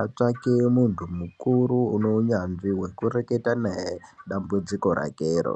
Atsvake muntu mukuru unounyanzvi hwekureketa naye dambudziko rakero.